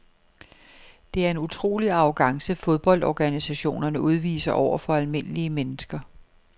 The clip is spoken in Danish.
Det er en utrolig arrogance fodboldorganisationerne udviser over for almindelige mennesker.